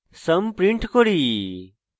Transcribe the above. sum print করি